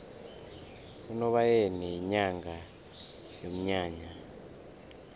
unobayeni yinyanga yomnyanya